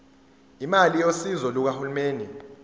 imali yosizo lukahulumeni